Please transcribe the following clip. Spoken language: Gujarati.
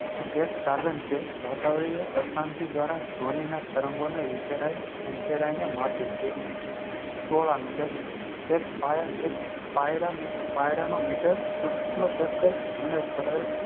એક સાઘન છે વતાવણીય અશાંતિ દ્રારા ઘ્વનીના તરંગો વિખેરાઈ ને માપે છે solameter એક પાયરનો meter સુક્ષ્મ પ્રતયક્ષ અને પરક્ષ